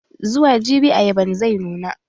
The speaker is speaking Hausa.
Zuwa jibi ayaban zai nuna.